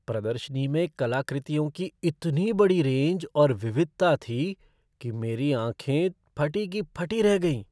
प्रदर्शनी में कलाकृतियों की इतनी बड़ी रेंज और विविधता थी कि मेरी तो आंखें फटी की फटी रह गईं।